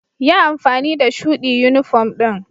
Yi amfani da shuɗi yunifom ɗin.